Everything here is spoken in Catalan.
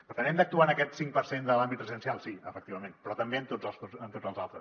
per tant hem d’actuar en aquest cinc per cent de l’àmbit residencial sí efectivament però també en tots els altres